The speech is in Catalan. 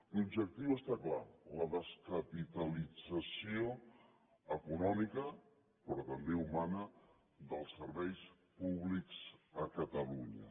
l’objectiu està clar la descapitalització econòmica però també humana dels serveis públics a catalunya